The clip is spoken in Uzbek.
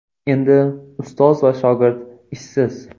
Endi ustoz va shogird ishsiz.